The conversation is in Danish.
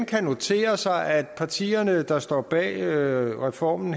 notere sig at partierne der står bag reformen